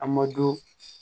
A ma do